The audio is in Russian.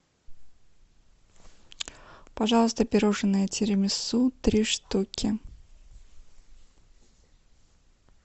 пожалуйста пирожные тирамису три штуки